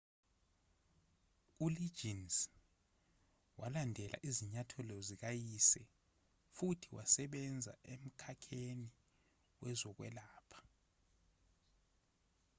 uliggins walandela izinyathelo zikayise futhi wasebenza emkhakheni wezokwelapha